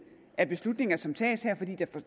af beslutninger som tages her fordi